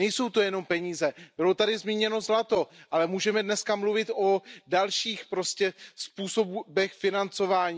Nejsou to jenom peníze, bylo tady zmíněno zlato, ale můžeme dnes mluvit o dalších způsobech financování.